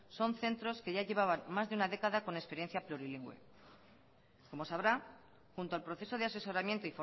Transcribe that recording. son centros que ya llevaban más de una década con experiencia plurilingüe como sabrá junto al proceso de asesoramiento